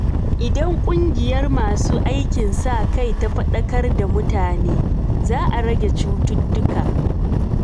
Idan ƙungiyar masu aikin sa kai ta fadakar da mutane, za a rage cututtuka.